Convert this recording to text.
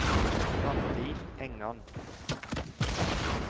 Randi Engan